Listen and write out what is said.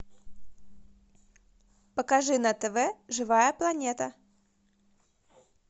покажи на тв живая планета